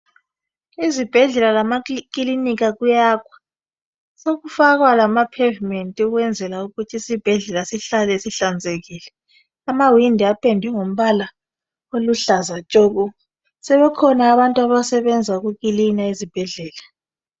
Izibhedlela lamakilinika kuyakhwa sokufakwa lama pavement ukwenzela ukuthi isibhedlela sihlale sihlanzekile amawindi apendwe ngombala oluhlaza tshoko sebekhona abantu abasebenza ukukilina ezibhedlela.